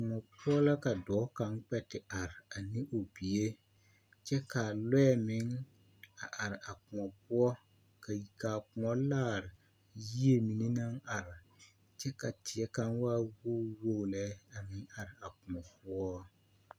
Koɔ poɔ la ka dɔɔ kaŋ kpɛ te are ane o bie kyɛ ka lɔɛ meŋ a are a koɔ poɔ ka ka koɔ laare yie mine naŋ are kyɛ ka teɛ kaŋ waa wogi wogi lɛ a meŋ are a koɔ poɔ.